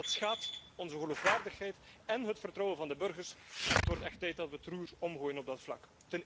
Dat schaadt onze geloofwaardigheid en het vertrouwen van de burgers en het wordt echt tijd dat we het roer omgooien op dat vlak.